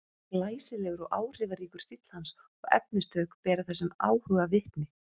Glæsilegur og áhrifaríkur stíll hans og efnistök bera þessum áhuga vitni.